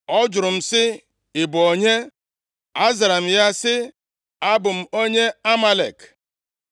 “Ọ jụrụ m sị, ‘Ị bụ onye?’ “Azara m ya sị, ‘Abụ m onye Amalek.’